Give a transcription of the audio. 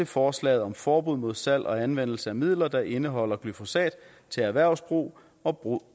forslaget om forbud mod salg og anvendelse af midler der indeholder glyfosat til erhvervsbrug og brug